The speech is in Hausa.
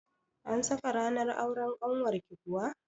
An saka ranar auren ƙanwarki kuwa?